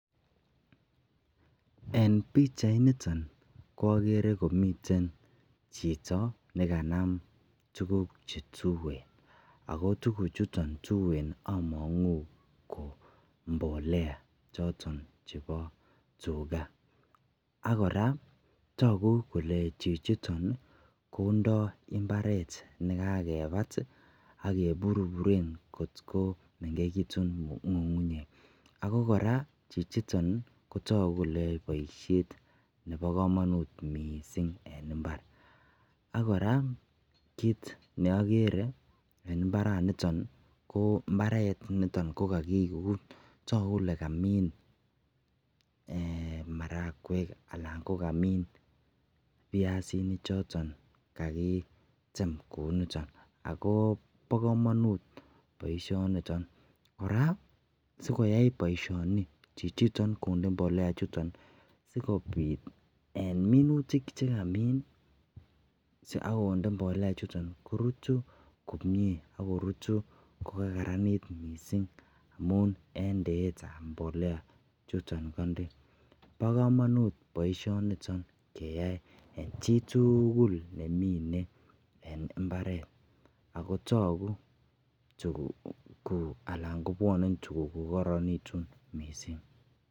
en pichait niton ko ogere komiten chito neganam tuguuk chetueen, ago tuguk chuton tueen omonguu ko mbolea choton chebo tuuga, ak koraa toogu kole chichiton kondoo imbareet negagebaat iih ak keburburen kotkomengegituun ngungunyeek, ago koraa chichiton kotogu kole yoee boisheet nebo komonuut mising en imbaar, ak koraa kiit neogeree en imbaraat niton ko imbareet, toogu kole kamiin marakweek anan kogamiin pyasinik choton kagitem kouu nitoon, agoo bo komonuut boishoniton, ngaab sigoyai boishoniton chichiton konde mbolea ichuton sigobiit eeh ,inutik chegamiin ak konde mbolea ichuton korutyiin komyee korutu kogaraniit mising amun en ndeet ab mbolea chuton konde, bo komonuut boishoniton keyaai en chituugul nemine en imbareet ooh toguu tuguuk alan kobwone tuguuk kogorenegituun mising.